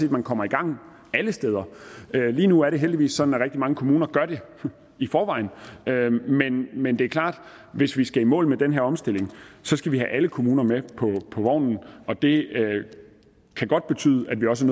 at man kommer i gang alle steder lige nu er det heldigvis sådan at rigtig mange kommuner gør det i forvejen men det er klart at hvis vi skal i mål med den her omstilling skal vi have alle kommuner med på vognen det kan godt betyde at vi også